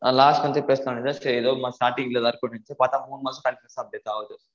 நான் last time மே பேசலாம்னு இருந்தேன் சேரி ஏதோ starting ல எதாச்சு இரும்னு பாத மூணு மாசமா ஆகுது